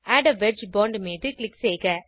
add a wedge point மீது click செய்க